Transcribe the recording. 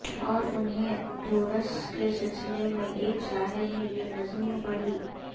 اور انہی دروس کے سلسلے میں ایک صاحب نے یہ نظم پڑھی